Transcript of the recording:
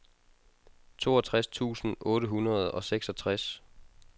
toogtres tusind otte hundrede og seksogtres